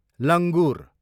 लङ्गुर